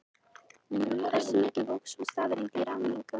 En hversu mikið vóg sú staðreyndi í ráðningu hans?